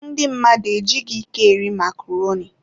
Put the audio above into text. Ndị mmadụ ejighị ike eri makroni.